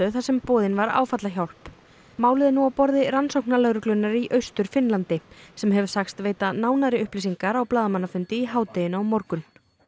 þar sem boðin var áfallahjálp málið er nú á borði rannsóknarlögreglunnar í Austur Finnlandi sem hefur sagst veita nánari upplýsingar á blaðamannafundi í hádeginu á morgun